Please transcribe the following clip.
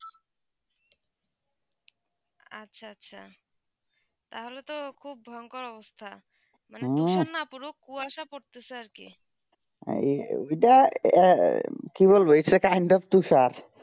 আচ্ছা আচ্ছা তা হলে তো খুব ভয়ঙ্কর অবস্থা মানে হম কুয়াসা পড়তে চে আর কি এই ওইটা কি বলবো এইটা end of তুষার